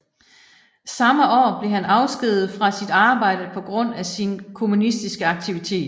Samme år blev han afskediget fra sit arbejde på grund af sin kommunistiske aktivitet